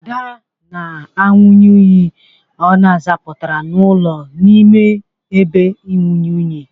Ada na-anwụnye unyi ọ zapụtara n'ụlọ n'ime ebe inwunye unyi.